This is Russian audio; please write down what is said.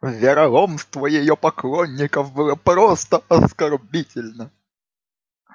вероломство её поклонников было просто оскорбительно